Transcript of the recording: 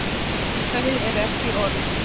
Þau eru ekki orð.